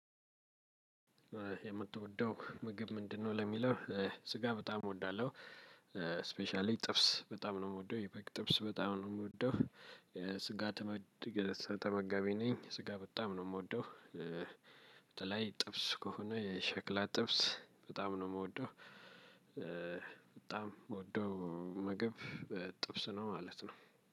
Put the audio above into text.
የምትወደው ምግብ ምንድነው? ለሚለው ስጋ በጣም እወዳለሁ ስፔሻሊ ጥብስ በጣም ነው የምወደው የበግ የጥብስ በጣም ነው የምወደው የስጋ ተመጋቢ ነኝ ስጋ በጣም ነው የምወደው በተለይ ጥብስ ከሆነ የሸክላ ጥብስ በጣም ነው የምወደው በጣም የምወደው ምግብ ጥብስ ነው ማለት ነው።